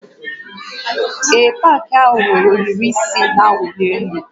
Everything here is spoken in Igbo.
Ee, ogige pak ahụ nwere ohiri isi na-awụli elu